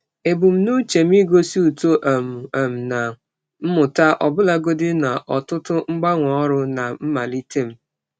Ebumnuche m igosi uto um um na mmụta ọbụlagodi na ọtụtụ mgbanwe ọrụ na mmalite m.